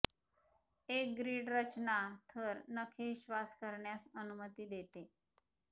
एक ग्रीड रचना थर नखे श्वास करण्यास अनुमती देते